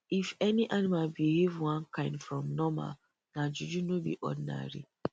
if any animal behave one kind from normal nah juju no be ordinary